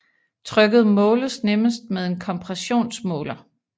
Trykket måles nemmest med en kompressionsmåler